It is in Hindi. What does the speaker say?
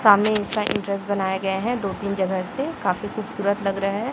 सामने एक इंस्ट एंट्रेंस बनाया गये है दो तीन जगह से काफी खूबसूरत लग रहे है।